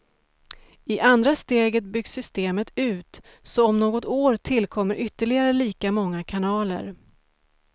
I andra steget byggs systemet ut, så om något år tillkommer ytterligare lika många kanaler.